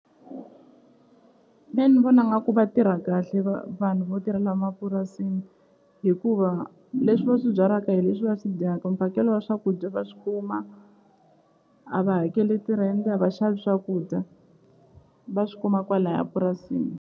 Me ni vona nga ku va tirha kahle vanhu vo tirhela mapurasini hikuva leswi va swi byalaka hi leswi va swi dyaka mphakelo wa swakudya va swi kuma a va hakeli tirhente a va xavi swakudya va swi kuma kwalaya purasini.